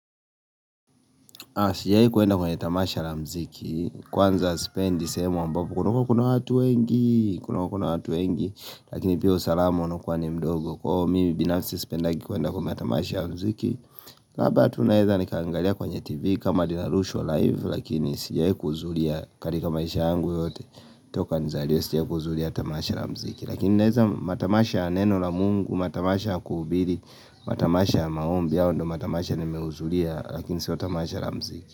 Sijai kuenda kwenye tamasha la mziki. Kwanza spendi sehemu ambapo kuna watu wengi kuna watu wengi kakini pia usalamu unaokuwa ni mdogo kwa mimi binafsi spendagi kuenda kwa matamasha ya mziki na apa tu naeza nikaangalia kwenye TV kama dinarushwa live lakini sijai kuzulia katika maisha yangu yote Toka nizaliwe sijai kuzulia tamasha la mziki lakini naeza matamasha ya neno la mungu, matamasha ya kuhubiri, matamasha ya maombi hayo ndo matamasha nimeuzulia lakini sio tamasha la mziki.